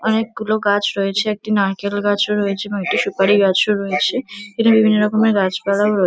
অনেকগুলো গাছ রয়েছে। একটি নারকেল গাছও রয়েছে এবং একটি সুপারি গাছও রয়েছে। এটি বিভিন্ন রকমের গাছপালাও রয়ে --